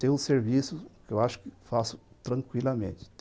Tenho um serviço que eu acho que faço tranquilamente.